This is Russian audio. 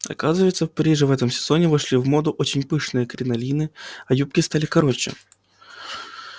оказывается в париже в этом сезоне вошли в моду очень пышные кринолины а юбки стали короче